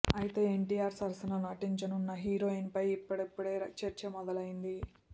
అయితే ఎన్టీఆర్ సరసన నటించనున్న హీరోయిన్ పై ఇప్పుడిప్పుడే చర్చ మొదలైంది